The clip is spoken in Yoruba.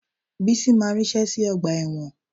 Bísí máa ríṣẹ́ sí ọgbà ẹ̀wọ̀n